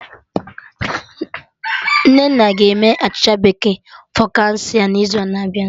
Nnenna ga-eme achịcha bekee focaccia n'izu na-abịa